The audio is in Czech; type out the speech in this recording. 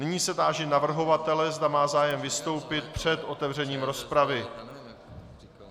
Nyní se táži navrhovatele, zda má zájem vystoupit před otevřením rozpravy.